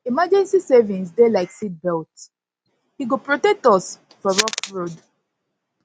emergency savings dey na like seatbelt e go protect us for rough road